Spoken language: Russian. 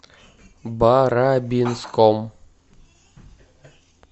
барабинском